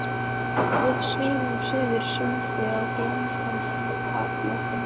Við svífum suður sundið á glampandi haffletinum.